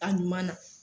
A ɲuman na